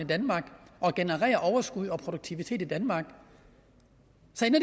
og genererer overskud og produktivitet i danmark